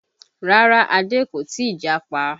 Rárá Adé kò ì tí japa